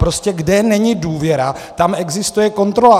Prostě kde není důvěra, tam existuje kontrola.